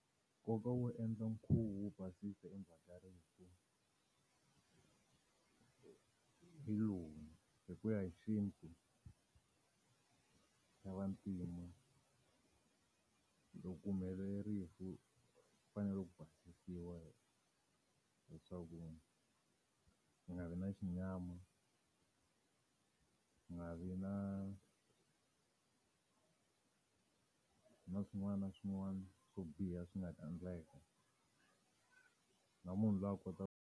Nkoka wo endla nkhuvo wo basisa endzhaku ka rifu hi lowu. Hi ku ya hi xintu xa vantima, loko ku humelele rifu ku fanele ku basisiwa leswaku ku nga vi na xinyama, ku nga vi na na swin'wana na swin'wana swo biha swi nga ta endleka. Na munhu loyi a kota .